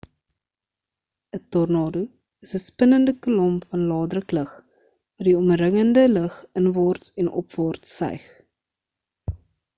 'n tornado is 'n spinnende kolom van lae-druk lug wat die omringende lug inwaarts en opwaarts suig